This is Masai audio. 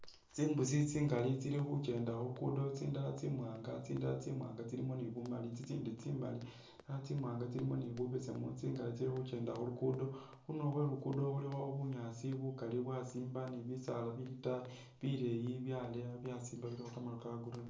Tsimbusi tsingali tsili khukyenda khulugudo tsindala tsi'mwanga tsindala tsi'mwanga tsilimo ni bumaali tsitsindi tsimaali tsi' wanga tsilimo bubesemu tsingali tsili khukenda khulugudo, khundulo khwe luguddo khulikho bunyaasi bukaali bwasimba ni bisaala bili itaayi bileeyi byaleya byasimba bilikho kamaru ka'green